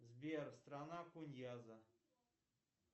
сбер страна куньяза